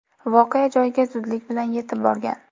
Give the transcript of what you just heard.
voqea joyiga zudlik bilan yetib borgan.